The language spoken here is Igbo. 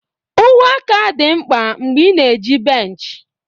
uwe aka dị mkpa mgbe ị na-eji bench.